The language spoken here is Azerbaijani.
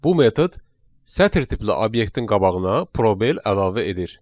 Bu metod sətir tipli obyektin qabağına probel əlavə edir.